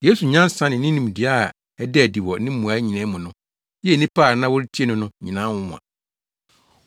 Yesu nyansa ne ne nimdeɛ a ɛdaa adi wɔ ne mmuae nyinaa mu no, yɛɛ nnipa a na wɔretie no no nyinaa nwonwa.